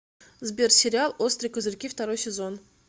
сбер сериал острые козырьки второй сезон